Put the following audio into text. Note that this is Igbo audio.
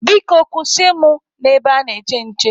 Biko kwụsị mụ na ebe ana-eche nche.